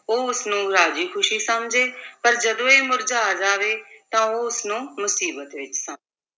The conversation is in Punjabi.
ਉਹ ਉਸਨੂੰ ਰਾਜ਼ੀ ਖ਼ੁਸ਼ੀ ਸਮਝੇ ਪਰ ਜਦੋਂ ਇਹ ਮੁਰਝਾ ਜਾਵੇ, ਤਾਂ ਉਹ ਉਸਨੂੰ ਮੁਸੀਬਤ ਵਿੱਚ ਸ~